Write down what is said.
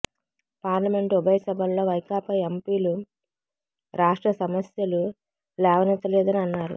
parliament ఉభయ సభల్లో వైకాపా ఎంపీలు రాష్ట్ర సమస్యలు లేవనెత్తలేదని అన్నారు